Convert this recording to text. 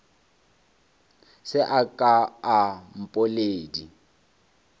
se a ka a mpoledi